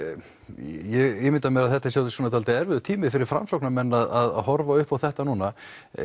ég ímynda mér að þetta sé svolítið erfiður tími fyrir Framsóknarmenn að horfa upp á þetta núna